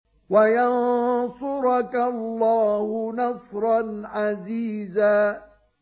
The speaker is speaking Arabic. وَيَنصُرَكَ اللَّهُ نَصْرًا عَزِيزًا